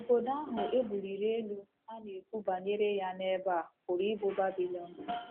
Obodo ahụ e buliri elu a na-ekwu banyere ya n’ebe a pụrụ ịbụ Babilọn.